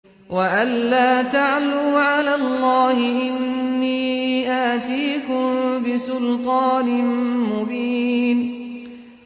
وَأَن لَّا تَعْلُوا عَلَى اللَّهِ ۖ إِنِّي آتِيكُم بِسُلْطَانٍ مُّبِينٍ